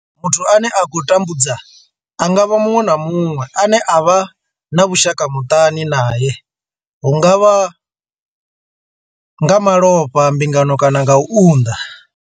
Muthu ane a khou vha tambudza a nga vha muṅwe na muṅwe ane vha vha na vhushaka muṱani nae hu nga vha nga malofha, mbingano kana u unḓa.